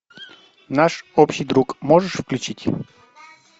наш общий друг можешь включить